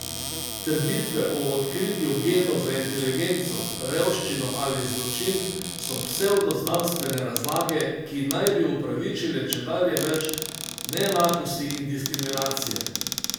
Trditve o odkritju genov za inteligenco, revščino ali zločin so psevdo znanstvene razlage, ki naj bi opravičile čedalje več neenakosti in diskriminacije.